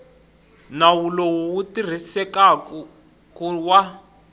nawu lowu wu tirhisekaku wa